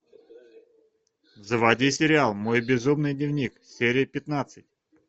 заводи сериал мой безумный дневник серия пятнадцать